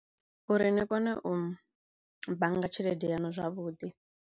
Uri ni kone u u bannga tshelede yaṋu zwavhudi.